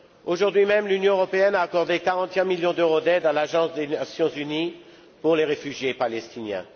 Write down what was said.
Aujourd'hui même, l'Union européenne a accordé 41 millions d'euros d'aide à l'Agence des Nations unies pour les réfugiés palestiniens.